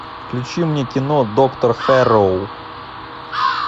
включи мне кино доктор хэрроу